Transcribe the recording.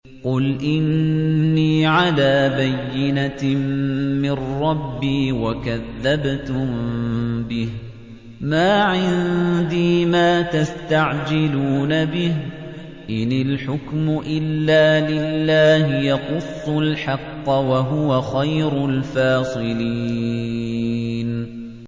قُلْ إِنِّي عَلَىٰ بَيِّنَةٍ مِّن رَّبِّي وَكَذَّبْتُم بِهِ ۚ مَا عِندِي مَا تَسْتَعْجِلُونَ بِهِ ۚ إِنِ الْحُكْمُ إِلَّا لِلَّهِ ۖ يَقُصُّ الْحَقَّ ۖ وَهُوَ خَيْرُ الْفَاصِلِينَ